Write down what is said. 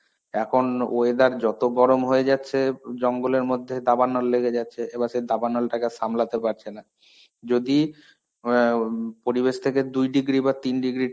এখন weather যত গরম হয়ে যাচ্ছে জঙ্গলের মধ্যে, দাবানল লেগে যাচ্ছে. এবার সেই দাবানলটাকে সামলাতে পারছেনা. যদি য়াও পরিবেশ থেকে দুই degree বা তিন degree